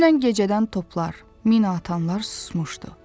Dünən gecədən toplar, mina atanlar susmuşdu.